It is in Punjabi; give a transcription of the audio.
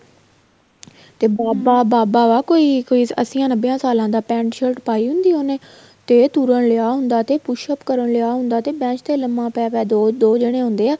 ਤੇ ਬਾਬਾ ਬਾਬਾ ਵਾ ਕੋਈ ਕੋਈ ਅੱਸੀਆਂ ਨੱਬੇ ਸਾਲਾ ਦਾ pent shirt ਪਾਹੀ ਹੁੰਦੀ ਆ ਉਹਨੇ ਤੇ ਤੁਰਨ ਲਿਆ ਹੁੰਦਾ ਤੇ push up ਕਰਨ ਲਿਆ ਹੁੰਦਾ ਤੇ bench ਤੇ ਲੰਬਾ ਪੈ ਪੈ ਕੇ ਦੋ ਦੋ ਜਾਣੇ ਹੁੰਦੇ ਆ